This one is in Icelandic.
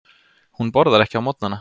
Hún borðar ekki á morgnana.